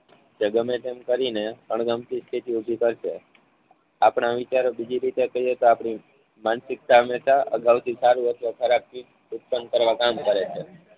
કે ગમે તેમ કરીને અણગમતી ચીજો છે. આપણા વિચારો બીજી રીતે કૈહીએ તો આપણી માનસિકતાને અગાઉથી સારું હતો ખરાબ ઉત્પન્ન કરવા કામ કરે છે.